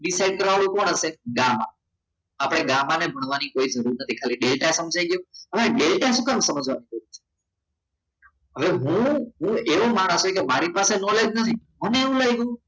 decide કરવાનું કોણ છે ગામમાં આપણે ગામાં ને મળવાની કોઈ જરૂર નથી ખાલી ડેલ્ટા સમજાઈ ગયો હા ડેલ્ટા શું કામ સમજાવવાનો છે હવે હું એવું મારાથી કે મારા પાસે knowledge નથી અને મને એવું લાગ્યું